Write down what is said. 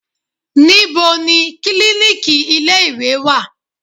Níbo ni klíníkì ilé ìwé wà?